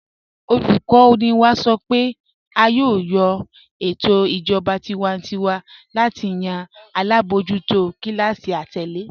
Olùkọ́ni wá sọ́ pé á yóò lọ̀ ètò ìjọba tìwántíwà láti yàn alábojútò kílásí àtẹ̀lẹ̀.